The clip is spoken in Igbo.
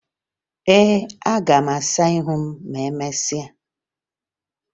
Ee, aga m asa ihu m ma emesịa